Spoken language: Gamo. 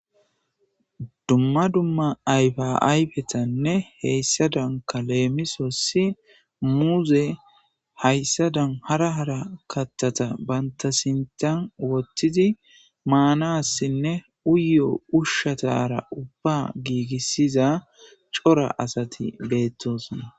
Dumma dumma ayfa ayfetanne heyssadankka leemisossi muuze hayssadan hara hara kattata banta sinttan wottidi maanassinne uyo ushshatara ubba giigissiza cora asati beettossona